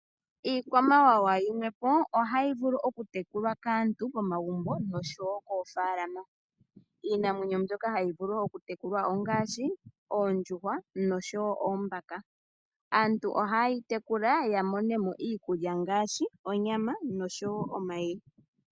Iikwamawawa yimwepo ohayi vulu okutekulwa kaantu momagumbo nosho wo moofaalama. Iinamwenyo mbyoka hayi vulu okutekulwa ongaashi onyama nosho wo omayi.